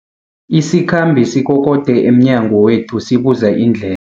Isikhambi sikokode emnyango wethu sibuza indle